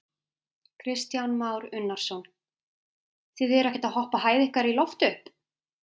Kristján Már Unnarsson: Þið eruð ekkert að hoppa hæð ykkar í loft upp?